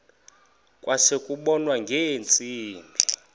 kwase kubonwa ngeentsimbi